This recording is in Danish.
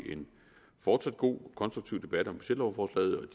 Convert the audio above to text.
fortsat god og konstruktiv debat om budgetlovforslaget